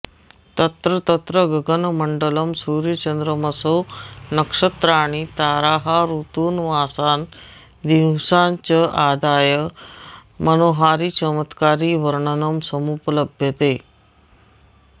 तत्र तत्र गगनमण्डलं सूर्याचन्द्रमसौ नक्षत्राणि ताराः ऋतून मासान् दिवसाँश्चादाय मनोहारि चमत्कारि वर्णनं समुपलभ्यते